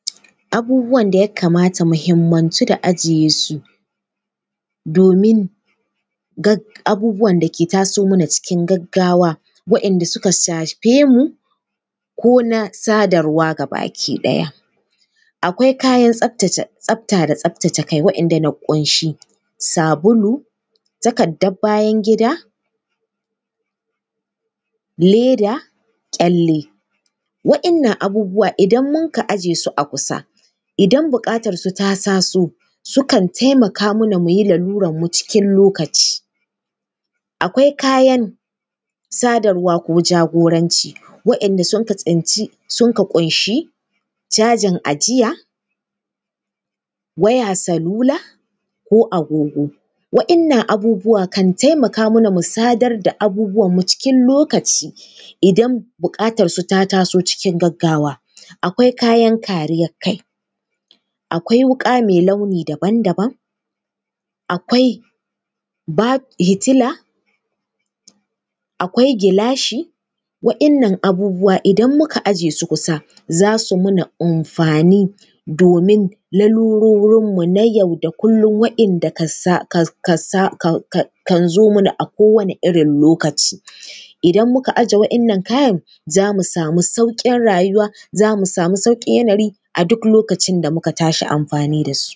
Abubuwan da ya kamata mu himmantu da ajiye su, domin abubuwan da ke taso mana cikin gaggawa, waɗanda suka shafe mu ko na sadarwa gabaki ɗaya. Akwai kayan tsafta da tsaftace kai waɗanda na ƙunshi sabulu, takardar bayan-gida, leda, ƙyalle. Waɗannan abubuwa idan munka aje su kusa, idan buƙatarsu ta taso, sukan taimaka mana mu yi larurarmu cikin lokaci. Akwai kayan sadarwa ko ja-goranci, waɗanda sunka tsinci, sunka ƙunshi: cajin ajiya, waya salula ko agogo. Waɗannan abubuwa sukan taimaka mana mu sadar da abubuwanmu cikin lokaci idan buƙatarsu ta taso cikin gaggawa. Akwai kayan kariyar kai, akwai wuƙa mai launi daban daban, akwai ba… fitila, akwai gilashi, waɗannan abubuwa idan muka aje su kusa, za su mana amfani domin larurorinmu na yau da kullum waɗanda........ kan zo mana akowane irin lokaci. Idan muka aje waɗannan kayan, za mu samu sauƙin rayuwa, za mu samu sauƙin yanayi a duk lokacin da muka tashi amfani da su.